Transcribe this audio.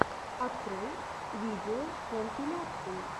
открой видеокомпиляции